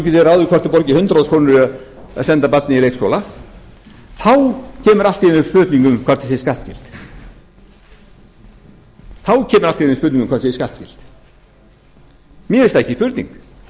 það borgar hundrað þúsund krónur að senda barnið í leikskóla kemur allt í einu upp spurningin um hvort það sé skattfrjálst mér finnst það ekki spurning